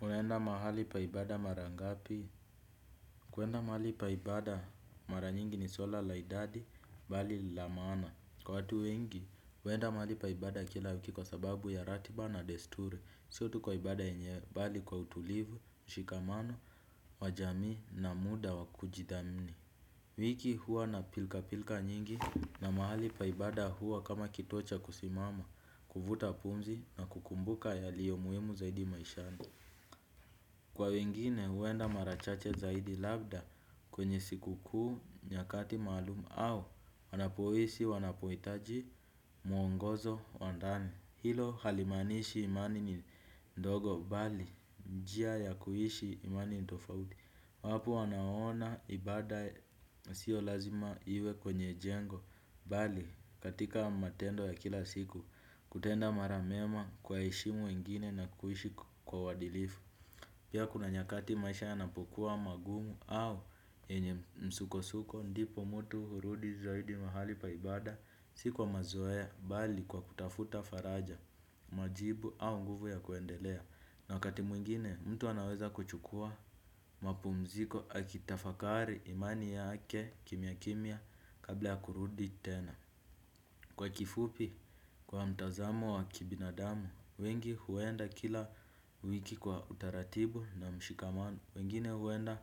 Unaenda mahali pa ibada mara ngapi? Kuenda mahali pa ibada mara nyingi ni swala la idadi, bali la maana. Kwa watu wengi, uenda mahali pa ibada kila wiki kwa sababu ya ratiba na desturi. Sio tu kwa ibada enyewe, bali kwa utulivu, mshikamano, wa jamii na muda wa kujidhamni. Wiki hua na pilka pilka nyingi na mahali pa ibada huwa kama kituo cha kusimama, kuvuta pumzi na kukumbuka yaliyo muhimu zaidi maishani. Kwa wengine uenda mara chache zaidi labda kwenye siku kuu nyakati maalum au wanapohisi wanapohitaji muongozo wa ndani. Hilo halimanishi imani ni ndogo bali njia ya kuishi imani ni tofauti. Wapo wanaoona ibada sio lazima iwe kwenye jengo bali katika matendo ya kila siku kutenda mara mema kuwaheshimu wengine na kuishi kwa uwadilifu. Pia kuna nyakati maisha yanapokuwa magumu au yenye msuko-suko ndipo mutu hurudi zaidi mahali pa ibada. Si kwa mazoea bali kwa kutafuta faraja majibu au nguvu ya kuendelea. Na wakati mwingine mtu anaweza kuchukua mapumziko akitafakari imani yake kimya kimya kabla ya kurudi tena. Kwa kifupi, kwa mtazamo wa kibinadamu, wengi huenda kila wiki kwa utaratibu na mshikamano, wengine huenda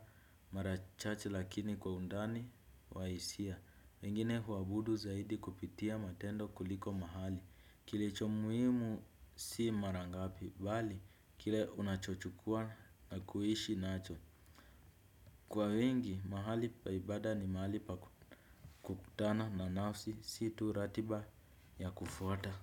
mara chache lakini kwa undani wa isia, wengine huabudu zaidi kupitia matendo kuliko mahali, kilicho muhimu si mara ngapi, bali kile unachochukua na kuishi nacho. Kwa wengi mahali pa ibada ni mahali pa kukutana na nafsi si tu ratiba ya kufuata.